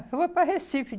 Foi para Recife.